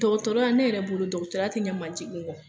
Dɔgɔtɔrɔya ne yɛrɛ bolo dɔgɔtɔrɔ te ɲɛ manjigin ŋɔ.